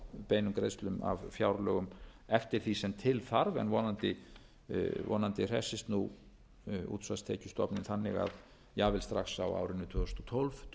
beinum greiðslum af fjárlögum eftir því sem til þarf en vonandi hressist nú útsvarstekjustofninn þannig að jafnvel strax á árinu tvö þúsund og tólf dugi þessi